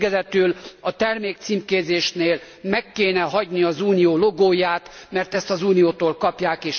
És végezetül a termékcímkézésnél meg kellene hagyni az Unió logóját, mert ezt az Uniótól kapják.